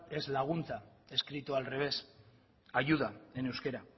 es laguntza escrito al revés ayuda en euskera